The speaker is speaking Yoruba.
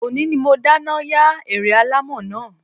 Ọ̀ní ni mo dáná yá ère alámọ̀ náà